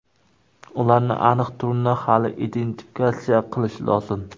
Ularning aniq turini hali identifikatsiya qilish lozim.